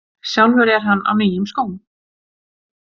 Sjálfur er hann á nýjum skóm.